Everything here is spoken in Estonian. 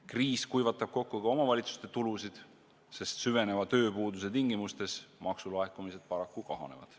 Kriis kuivatab kokku ka omavalitsuste tulusid, sest süveneva tööpuuduse tingimustes maksulaekumised paraku kahanevad.